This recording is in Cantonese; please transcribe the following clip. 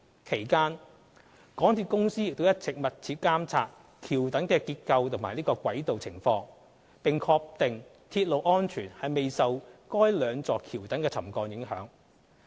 其間，港鐵公司亦一直密切監察橋躉結構及軌道情況，並確定鐵路安全未受該兩座橋躉沉降影響。